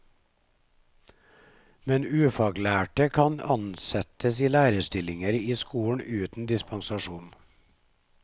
Men ufaglærte kan ansettes i lærerstillinger i skolen uten dispensasjon.